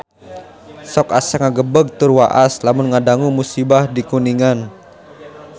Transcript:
Sok asa ngagebeg tur waas lamun ngadangu musibah di Kuningan